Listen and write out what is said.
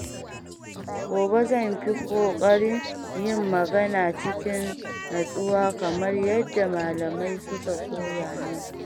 Gobe zan fi kokarin yin magana cikin natsuwa kamar yadda malamai suka koya min.